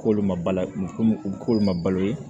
K'olu ma bali komi u bɛ k'olu ma balo ye